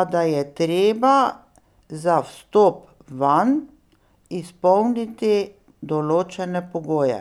a da je treba za vstop vanj izpolniti določene pogoje.